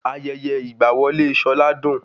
Ayẹyẹ ìgba wọlé Ṣọlá dùn